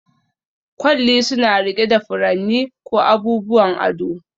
Kwalli suna riƙe da furanni ko abubuwan ado